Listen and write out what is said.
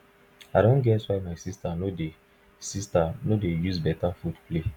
i don get why my sister no dey sister no dey use better food play o